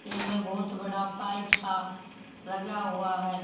यह बहोत बड़ा पाइप सा लगा हुआ है।